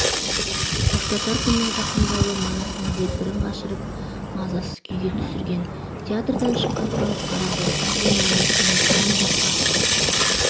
қоштасар күннің жақындауы манастың дегбірін қашырып мазасыз күйге түсірген театрдан шыққан халық қараңғылықтың қойнауына сіңіп жан-жаққа